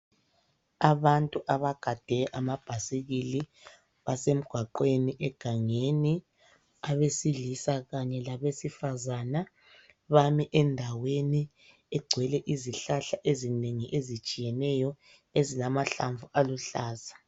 Abantu abagade amabhasikili basemgwagweni egangeni, abesilisa kanye labesifazana, bami endaweni egcwele izihlahla ezinengi ezitshiyeneyo ezilamahlamvu aluhlaza.